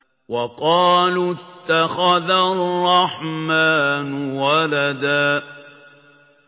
وَقَالُوا اتَّخَذَ الرَّحْمَٰنُ وَلَدًا